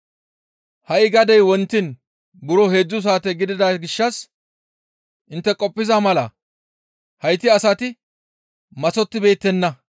Ha7i gadey wontiin buro heedzdzu saate gidida gishshas intte qoppiza mala hayti asati maththottibeettenna.